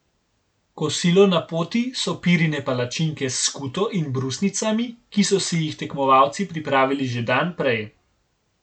Kosilo na poti so pirine palačinke s skuto in brusnicami, ki so si jih tekmovalci pripravili že dan prej.